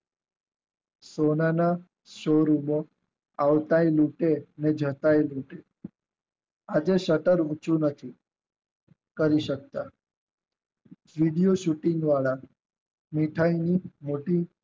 તેમના સુર્વીગો આવી કે રીતે ને જકાય દીધું આજે અત્તર ઉંચી નથી કરી સકતા વિડીયો શુટિંગ વાળા મિઠાઈનની ઓફિસ